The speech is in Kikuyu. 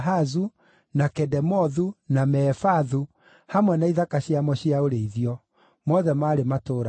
na Kedemothu, na Mefaathu, hamwe na ithaka ciamo cia ũrĩithio; mothe maarĩ matũũra mana;